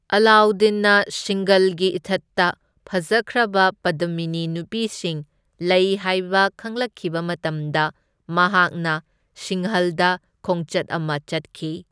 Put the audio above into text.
ꯑꯂꯥꯎꯗꯗꯤꯟꯅ ꯁꯤꯡꯒꯜꯒꯤ ꯏꯊꯠꯇ ꯐꯖꯈ꯭ꯔꯕ ꯄꯗꯃꯤꯅꯤ ꯅꯨꯄꯤꯁꯤꯡ ꯂꯩ ꯍꯥꯏꯕ ꯈꯪꯂꯛꯈꯤꯕ ꯃꯇꯝꯗ, ꯃꯍꯥꯛꯅ ꯁꯤꯡꯍꯜꯗ ꯈꯣꯡꯆꯠ ꯑꯃ ꯆꯠꯈꯤ꯫